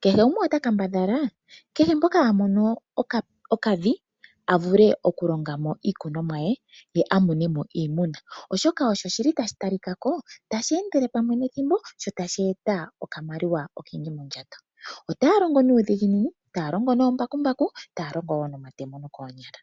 Kehe gumwe ota kambadhala kehe mpoka a mono okavi a vulee oku longa mo iikunomwa ye a mone mo iiyimati oshoka osho shi li tashi ta li kako tashi endele pamwe nethimbo sho tashi eta okamaliwa okendji mondjato. Otaya longo nuudhiginini, taya longo noombakumbaku, taya longo wo nomatemo nookonyala.